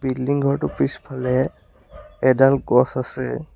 Building ঘৰটো পিছফালে এডাল গছ আছে।